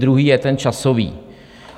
Druhý je ten časový.